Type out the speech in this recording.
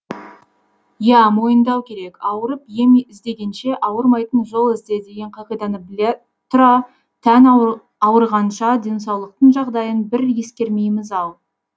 иә мойындау керек ауырып ем іздегенше ауырмайтын жол ізде деген қағиданы біле тұра тән ауырғанша денсаулықтың жағдайын бір ескермейміз ау